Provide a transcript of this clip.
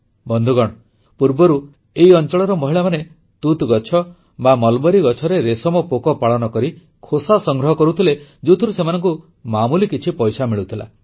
ବନ୍ଧୁଗଣ ପୂର୍ବରୁ ଏହି ଅଂଚଳର ମହିଳାମାନେ ତୁତ ଗଛ ବା ମଲବରୀ ଗଛରେ ରେଶମ ପୋକ ପାଳନ କରି ଖୋସା ସଂଗ୍ରହ କରୁଥିଲେ ଯୋଉଥିରୁ ସେମାନଙ୍କୁ ମାମୁଲି କିଛି ପଇସା ମିଳୁଥିଲା